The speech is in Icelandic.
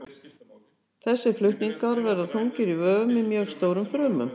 Þessir flutningar verða þungir í vöfum í mjög stórum frumum.